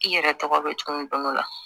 I yɛrɛ tɔgɔ bɛ tuguni don go don la